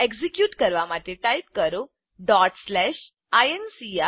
execute કરવા માટે type કરો incr